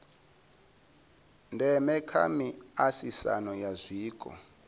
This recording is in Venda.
ndeme kha miaisano ya zwiko